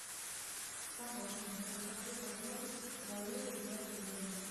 помощник расскажи подробности про лыжи в отеле